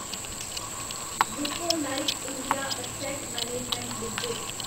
Nippon life India asset management limited